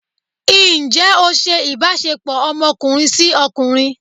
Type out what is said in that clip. njẹ o ṣe ìbáṣepọ ọmọkunrin si okunrín?